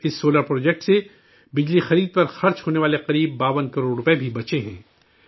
اس solar project سے، بجلی خرید پر خرچ ہونے والے تقریباً 52 کروڑ روپے بھی بچے ہیں